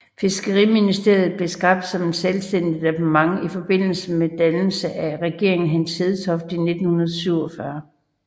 Fiskeriministeriet blev skabt som et selvstændigt departement i forbindelse med dannelsen af Regeringen Hans Hedtoft I i 1947